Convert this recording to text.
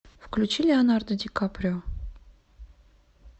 включи леонардо ди каприо